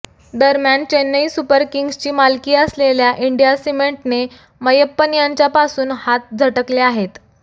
दरम्यान चेन्नई सुपर किंग्जची मालकी असलेल्या इंडिया सिमेंटने मैयप्पन यांच्यापासून हात झटकले आहेत